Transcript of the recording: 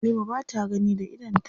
Halima ba ta gani da idonta.